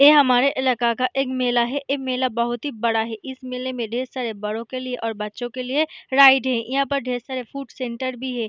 ए हमारे इलाका का एक मेला है। ए मेला बहुत ही बड़ा है। इस मेले में ढेर सारे बड़ों के लिए और बच्चों के लिए राइड हैं। इहाँ पर ढेर सारे फ़ूड सेंटर भी है।